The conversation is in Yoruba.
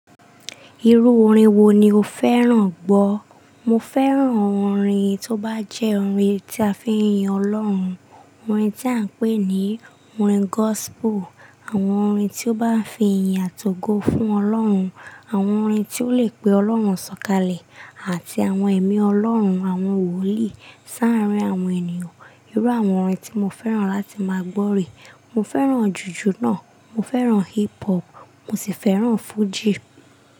Irú orin wo ni o fẹ́ràn gbọ́? Mo fẹ́ràn orin, tó bá jẹ́ orin tí a fi ń yin Ọlọ́run, orin tí à ń pè ní orin gospel, àwọn orin tí ó bá ń fi ìyìn àt'ogo fún Ọlọ́run, àwọn orin tí ó lè pe Ọlọ́run sọ̀kalẹ̀, àti àwọn ẹ̀mí Ọlọ́run, àwọn wòlíì, sáàárín àwọn ènìyàn, irú àwọn orin tí mo fẹ́ràn láti máa gbọ́ rè. Mo fẹ́ràn jùjù náà. Mo fẹ́ràn hip hop, mo sì fẹ́ràn fújì.